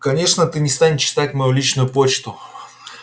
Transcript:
конечно ты не станешь читать мою личную почту